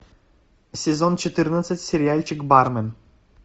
сезон четырнадцать сериальчик бармен